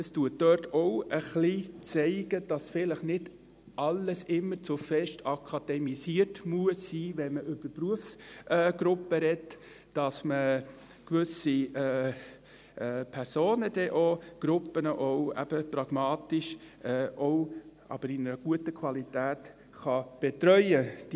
Es zeigt sich dort auch ein wenig, dass nicht immer alles zu fest akademisiert sein muss, wenn man über Berufsgruppen spricht, dass man dann eben gewisse Personen und Gruppen pragmatisch, aber in einer guten Qualität, betreuen kann.